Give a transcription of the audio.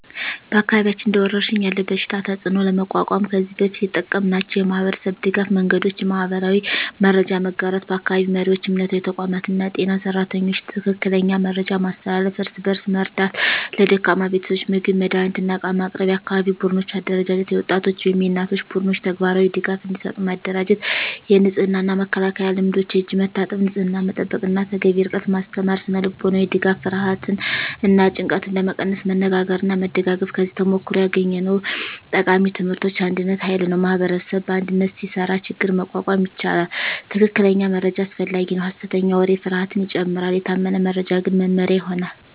በአካባቢያችን እንደ ወረሽኝ ያለ በሽታ ተፅዕኖ ለመቋቋም ከዚህ በፊት የተጠቀምናቸው የማህበረሰብ ድገፍ መንገዶች :- የማህበራዊ መረጃ መጋራት በአካባቢ መሪዎች፣ እምነታዊ ተቋማት እና የጤና ሰራተኞች ትክክለኛ መረጃ ማስተላለፍ። እርስ በእርስ መርዳት ለደካማ ቤተሰቦች ምግብ፣ መድሃኒት እና ዕቃ ማቅረብ። የአካባቢ ቡድኖች አደራጀት የወጣቶች ወይም የእናቶች ቡድኖች ተግባራዊ ድጋፍ እንዲሰጡ ማደራጀት። የንጽህና እና መከላከያ ልምዶች የእጅ መታጠብ፣ ንጽህና መጠበቅ እና ተገቢ ርቀት ማስተማር። ስነ-ልቦናዊ ድጋፍ ፍርሃትን እና ጭንቀትን ለመቀነስ መነጋገርና መደጋገፍ። ከዚህ ተሞክሮ ያገኘነው ቃሚ ትምህርቶች አንድነት ኃይል ነው ማኅበረሰብ በአንድነት ሲሰራ ችግኝ መቋቋም ይቻላል። ትክክለኛ መረጃ አስፈላጊ ነው ሐሰተኛ ወሬ ፍርሃትን ይጨምራል፤ የታመነ መረጃ ግን መመሪያ ይሆናል።